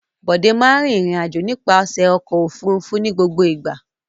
Bọ̀dé máa in rìnrìn-àjò nípasẹ̀ ọkọ̀-òfurufú ní gbogbo ìgbà.